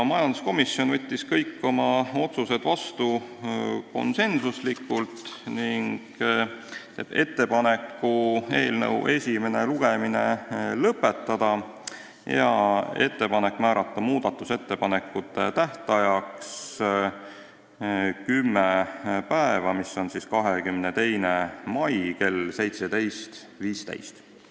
Majanduskomisjon võttis kõik oma otsused vastu konsensuslikult ning teeb ettepaneku eelnõu esimene lugemine lõpetada ja määrata muudatusettepanekute esitamise tähtajaks 10 tööpäeva ehk 22. mai kell 17.15.